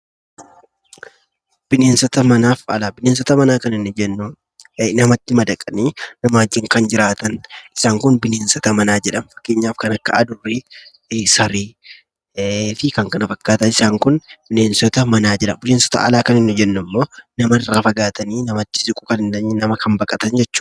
Bineensota manaa kan nuyi jennu namatti madaqanii namaa wajjin kan jiraatan. Isaan kun bineensota manaa jedhamuun beekamu. Fakkeenyaaf kan akka adurre, saree fi kan kana fakkaatan. Isaan kun bineensota manaa jedhamu. Bineensota alarraa kan nuti jennu immoo namarraa fagaatanii, namatti siquu kan hin dandeenye, nama kan baqatan jechuudha.